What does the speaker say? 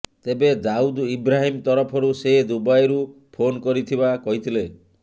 ତେବେ ଦାଉଦ୍ ଇବ୍ରାହିମ୍ ତରଫରୁ ସେ ଦୁବାଇରୁ ଫୋନ୍ କରିଥିବା କହିଥିଲେ